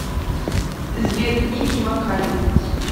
сбер ники макалин